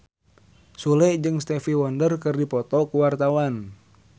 Sule jeung Stevie Wonder keur dipoto ku wartawan